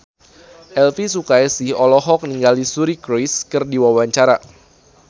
Elvy Sukaesih olohok ningali Suri Cruise keur diwawancara